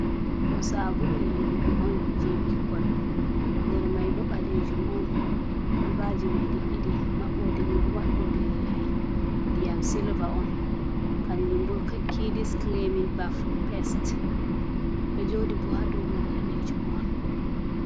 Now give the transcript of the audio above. Ɗo sabuu yiwugo on je bikkol. Nder mai bo balejum on. kolbaji di ɗiɗi mabboɗe mai diyam silva on. kanjum bo kidiskilamin baf pest. Ɗo jodii bo haɗau hude ɗanejum on.